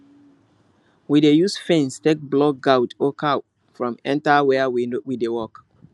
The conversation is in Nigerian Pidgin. we dey use fence take block goat or cow from enter where we dey work